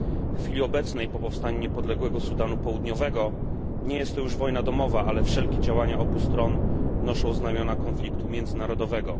W chwili obecnej, po powstaniu niepodległego Sudanu Południowego, nie jest to już wojna domowa, ale wszelkie działania obu stron noszą znamiona konfliktu międzynarodowego.